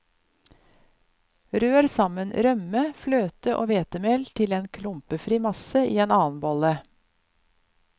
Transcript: Rør sammen rømme, fløte og hvetemel til klumpefri masse i en annen bolle.